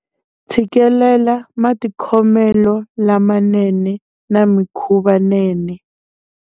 Tshikelela matikhomelo lamanene na mikhuvanene.